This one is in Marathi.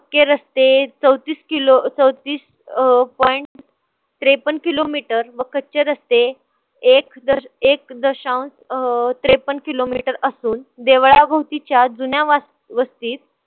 चे रस्ते चौतीस किलो अं चौतीस अं point त्रेपण kilometer व कच्चे रस्ते एक एक दशांश अं त्रेपण kilometer असून देवळाभोवतीच्या जुन्या वस्तीत